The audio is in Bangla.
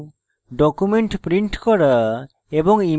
document print করা এবং